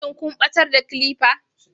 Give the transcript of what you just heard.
shin kun batar da clipper